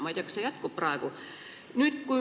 Ma ei tea, kas see praegu veel jätkub.